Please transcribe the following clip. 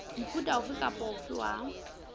mofuta ofe kapa ofe wa